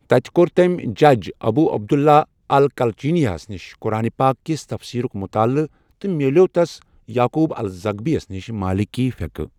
تتہٕ کور تٔمۍ جج ابو عبداللہ الکلچنیہ ہس نش قرآن پاک کس تفسیرک مطالعہٕ تہٕ میٛلیٛوو تس یعقوب الزغبی نش مالیکی فقح